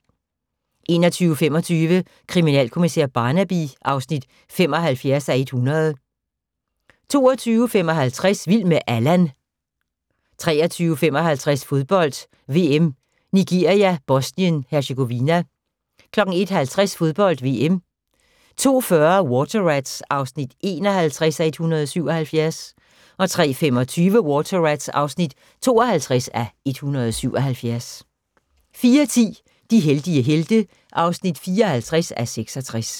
21:25: Kriminalkommissær Barnaby (75:100) 22:55: Vild med Allan 23:55: Fodbold: VM - Nigeria-Bosnien Herzegovina 01:50: Fodbold: VM 02:40: Water Rats (51:177) 03:25: Water Rats (52:177) 04:10: De heldige helte (54:66)